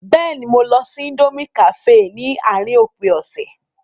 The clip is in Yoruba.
Bẹ́ẹ̀ni, mo lọ sí íńdómí kàféè ní àárín òpin ọ̀sẹ̀.